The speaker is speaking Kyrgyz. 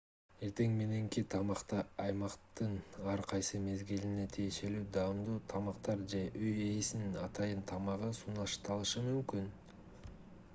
эртең мененки тамакта аймактын ар кайсы мезгилине тиешелүү даамдуу тамактар же үй ээсинин атайын тамагы сунушталышы мүмкүн